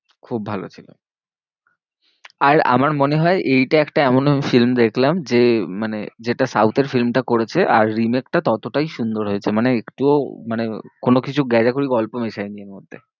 খুব ভালো ছিল। আর আমার মনে হয় এইটা একটা এমন film দেখলাম যে, মানে যেটা South এর film টা করেছে আর remake টা ততটাই সুন্দর হয়েছে। মানে একটুও মানে কোনোকিছু garble গল্প মেসায়নি এর মধ্যে।